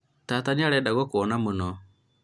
tata nĩarenda gũkũona mũno